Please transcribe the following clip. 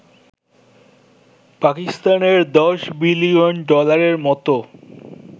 পাকিস্তানের ১০ বিলিয়ন ডলারের মত